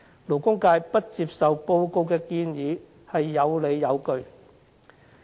勞工界不接受報告的建議是有理有據的。